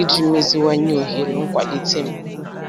iji meziwanye ohere nkwalite m.